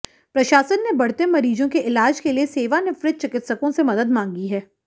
प्रशासन ने बढ़ते मरीजों के इलाज के लिए सेवानिवृत चिकित्सकों से मदद मांगी है